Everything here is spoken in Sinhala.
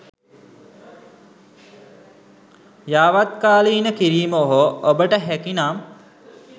යාවත්කාලින කිරීම හෝ ඔබට හැකිනම්